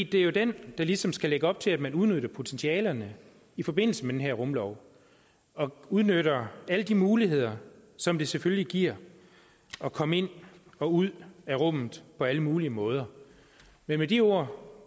det er jo den der ligesom skal lægge op til at man udnytter potentialerne i forbindelse med den her rumlov og udnytter alle de muligheder som det selvfølgelig giver at komme ind og ud af rummet på alle mulige måder med de ord